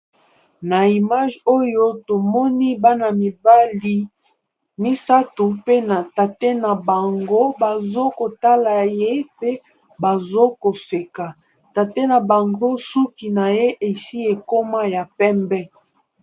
Na image oyo tomoni bana mibali misato pe na tate na bango, bazo kotala ye mpe bazo koseka tate na bango suki na ye esi ekoma ya pembe.